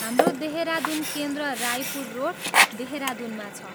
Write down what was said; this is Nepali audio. हाम्रो देहरादुन केन्द्र रायपुर रोड, देहरादुनमा छ।